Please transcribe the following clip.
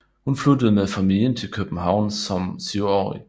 Hun flyttede med familien til København som syvårig